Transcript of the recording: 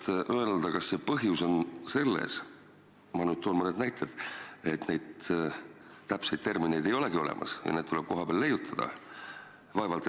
Kas oskate öelda, kas põhjus on selles – ma nüüd pakun midagi välja –, et täpseid termineid ei olegi olemas ja need tuleb kohapeal leiutada?